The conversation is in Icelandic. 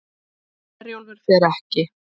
Herjólfur fer ekki